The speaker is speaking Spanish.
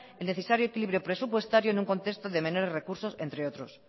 el necesario equilibrio presupuestario en un contexto de menores recursos entre otros